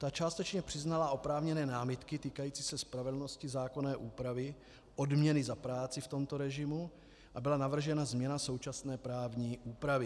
Ta částečně přiznala oprávněné námitky týkající se spravedlnosti zákonné úpravy odměny za práci v tomto režimu a byla navržena změna současné právní úpravy.